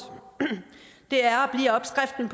det er